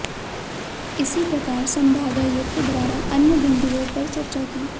इसी प्रकार संभागायुक्त द्वारा अन्य बिन्दुओं पर चर्चा की